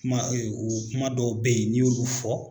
Kuma ɛɛ o kuma dɔw bɛ yen n'i y'olu fɔ